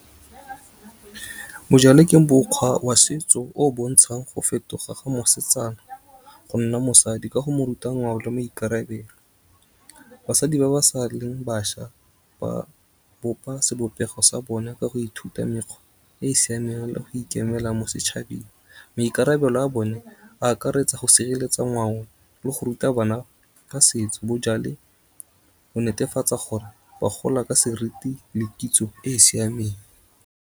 Bojale ke bokgwa wa setso o bontshang go fetoga ga mosetsana, gonna mosadi ka go mo ruta ngwao le maikarebelo. Basadi ba ba sa leng bašwa, ba bopa sebopego sa bone, ka go ithuta mekgwa e siameng le go ikemela mo setšhabeng. Maikarabelo a bone, a akaretsa go sireletsa ngwao, le go ruta bana ka setso. Bojale bo netefatsa gore ba gola ka seriti le kitso e siameng.